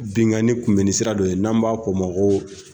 Binnkanni kunbɛni sira dɔ ye n'an b'a fɔ o ma ko